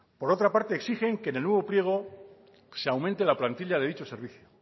por otra parte exigen que en el nuevo pliego se aumente la plantilla de dicho servicio